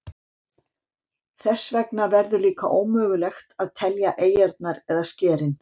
Þess vegna verður líka ómögulegt að telja eyjarnar eða skerin.